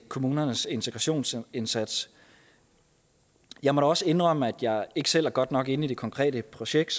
kommunernes integrationsindsats jeg må da også indrømme at jeg ikke selv er godt nok inde i det konkrete projekt